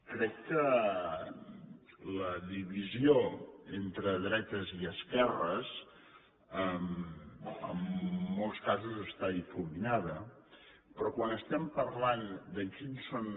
crec que la divisió entre dretes i esquerres en molts casos està difuminada però quan parlem de quins són